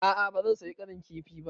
A'a ba zan saya ƙarin kifi ba.